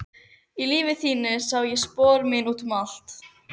Í lífi þínu sá ég spor mín út um allt.